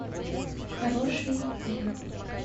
хороший день